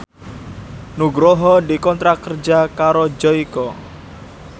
Nugroho dikontrak kerja karo Joyko